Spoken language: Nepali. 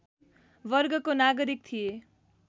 वर्गको नागरिक थिए